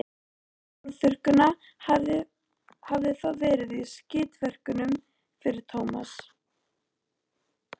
Konan með hárþurrkuna hafði þá verið í skítverkum fyrir Tómas.